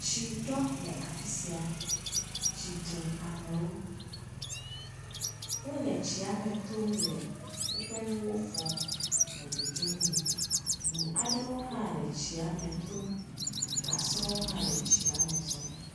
Tsi ɖo le afisia. Tsi ɖe amewo. Wòle tsiame tom le wòƒe nuwo fɔm le dzodzi mee. Ʋu aɖewo hã le tsia me tom. Gasɔwo hã le tsia me zɔm.